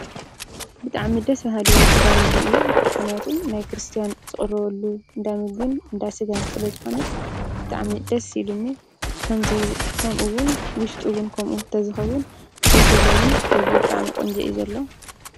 ብጣዕሚ ደስ በሃሊ እንዳ ምግቢ እዩ። ምክንያቱ ናይ ክርስትያን ዝቅረበሉ እንዳ ምግብን እንዳ ስጋን ስለ ዝኮነ ብጣዕሚ ደስ ኢሉኒ ። ከምኡ እውን ውሽጡ እውን ከምኡ እንተዝከውን ደስ ይብለኒ። ደጊኡ ብጣዕሚ ቆንጆ እዩ ዘሎ።